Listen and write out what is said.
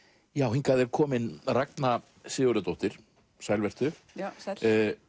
hingað er komin Ragna Sigurðardóttir sæl vertu já sæll